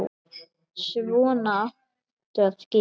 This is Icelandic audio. Svona áttu að gera.